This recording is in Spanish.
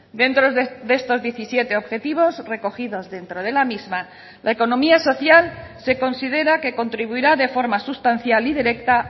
dentro de estos diecisiete objetivos recogidos dentro de la misma la economía social se considera que contribuirá de forma sustancial y directa